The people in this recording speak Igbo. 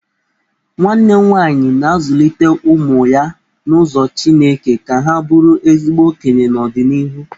Nwanne m nwaanyị na-azụlite ụmụ ya n'ụzọ chineke ka ha bụrụ ezigbo okenye n'ọdịnịhu.